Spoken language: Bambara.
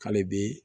Hali bi